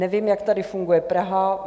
Nevím, jak tedy funguje Praha.